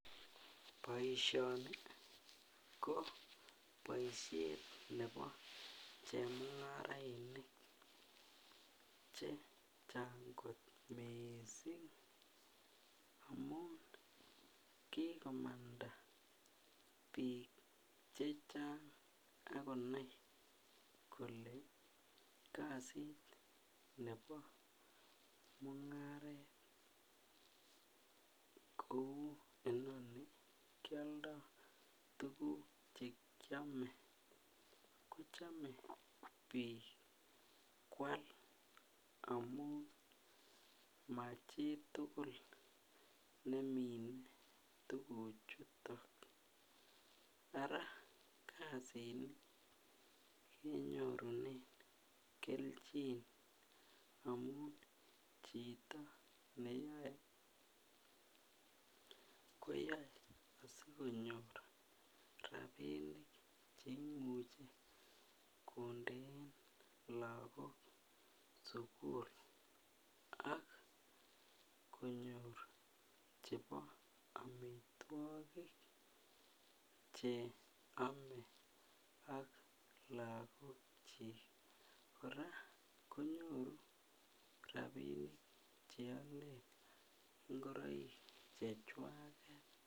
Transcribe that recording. Boishoni ko boishet nebo chemungarainik chechang kot missing amun kikomanda bik chechang ak konai kole kasit nebo mungaret kou inoni kioldo tukuk chekiome kochome bik kwal amun machitukul nemine tukuk chuton, araa kasini konyorunen keljin amun chito neyoe koyoe sikonyor rabinik cheimuche konden lokok sukul ak konyor chebo omitwokik cheome ak lokok chik. Koraa konyoru rabinik cheolen ingoroik chechwaket.